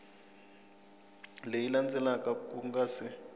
leyi landzelaka ku nga si